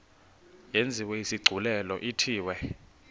yenziwe isigculelo ithiwe